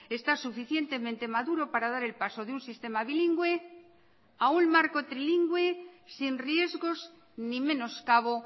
está suficientemente maduro para dar el paso de un sistema bilingüe a un marco trilingüe sin riesgos ni menoscabo